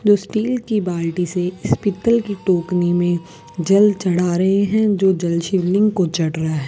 जो स्टील की बाल्टी से इस पितल की टोकनी में जल चढ़ा रहे हैं जो जल शिवलिंग को चढ़ रहा है।